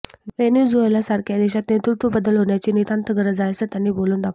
व्हेनेझुएलासारख्या देशात नेतृत्वबदल होण्याची नितांत गरज आहे असं त्यांनी बोलून दाखवलं